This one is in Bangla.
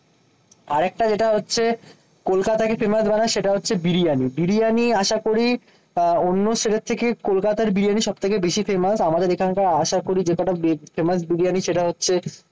আরেকটা যেটা হচ্ছে কলকাতাকে ফেমাস বানায় সেটা হচ্ছে বিরিয়ানি। বিরিয়ানি আশা করি আহ অন্য ছেলের থেকে কলকাতার বিরিয়ানি সব থেকে বেশি ফেমাস। আমাদের এখানকার আশাকরি যে কটা ফেমাস বিরিয়ানি সেটা হচ্ছে